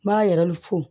N b'a yɛrɛ fɔ